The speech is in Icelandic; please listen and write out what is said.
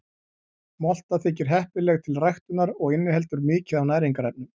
Molta þykir heppileg til ræktunar og inniheldur mikið af næringarefnum.